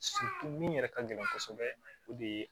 min yɛrɛ ka gɛlɛn kosɛbɛ o de ye